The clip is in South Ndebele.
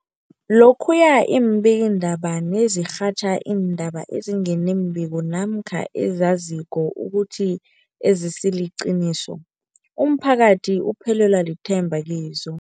Lokhuya iimbikiindaba nazirhatjha iindaba ezinga nembiko namkha ezizaziko ukuthi azisiliqiniso, umphakathi uphelelwa lithemba kizo.